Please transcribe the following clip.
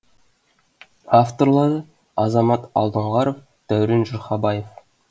авторлары азамат алдоңғаров дәурен жұрхабаев